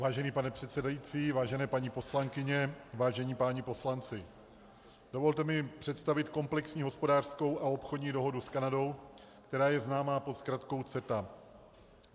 Vážený pane předsedající, vážené paní poslankyně, vážení páni poslanci, dovolte mi představit komplexní hospodářskou a obchodní dohodu s Kanadou, která je známá pod zkratkou CETA.